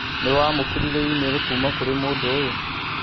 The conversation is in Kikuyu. Nĩwamũkĩrire i-mīrū kuuma kũrĩ mũndũ ũyũ?